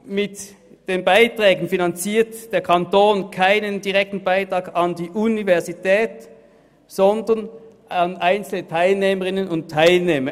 Der Kanton gibt hier keinen direkten Beitrag an die Universität, sondern finanziert einzelne Teilnehmerinnen und Teilnehmer.